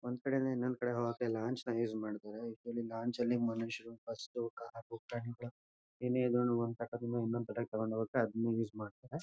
ಒಂದ್ ಕಡೆಯಿಂದ ಇನ್ನೊಂದ್ ಕಡೆ ಹೋಗೋಕೆ ಲಾಂಚ್ ನಾ ಯುಸ್ ಮಾಡ್ತಾರೆ. ಇದ್ರಲ್ಲಿ ಲಾಂಚ್ ಲ್ಲಿ ಮನುಷ್ಯರು ಬಸ್ಸು ಕಾರು ಏನೇ ಇದ್ರೂನೂ ಒಂದ್ ಕಡೆಯಿಂದ ಇನ್ನೊಂದ್ ಕಡೆ ತಗೊಂಡ್ ಹೋಗೋಕೆ ಅದನ್ನೇ ಯುಸ್ ಮಾಡ್ತಾರೆ.